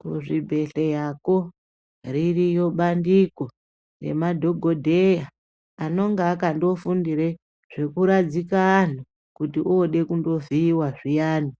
Kuzvibhedhlera ko ririyo bandiko rema dhokodheya anonga akandofundire zvekuradzika antu kuti ode kundovhiiwa zviyani ,